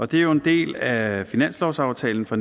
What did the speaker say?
det er jo en del af finanslovsaftalen for